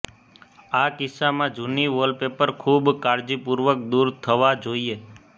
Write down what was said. આ કિસ્સામાં જુની વોલપેપર ખૂબ કાળજીપૂર્વક દૂર થવા જોઈએ